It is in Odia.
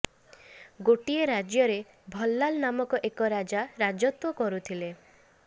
ଗୋଟିଏ ରାଜ୍ୟରେ ଭଲାଲ ନାମକ ଏକ ରାଜା ରାଜତ୍ୱ କରୁଥିଲେ